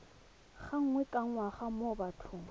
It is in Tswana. gangwe ka ngwaga mo bathong